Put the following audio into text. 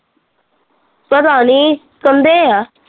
ਪਤਾ ਨੀ, ਕਹਿੰਦੇ ਆ